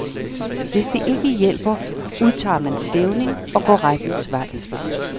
Hvis det ikke hjælper, udtager man stævning og går rettens vej.